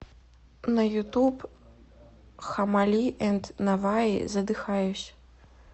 на ютуб хаммали энд наваи задыхаюсь